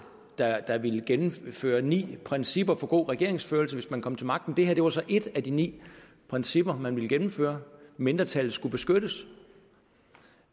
der ville gennemføre ni principper for god regeringsførelse hvis man kom til magten det her var så et af de ni principper man ville gennemføre mindretallet skulle beskyttes